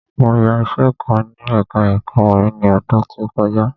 Mo yá iṣẹ kan ní ẹka ẹ̀kọ́ orin ni ọdún tí ó kọjá.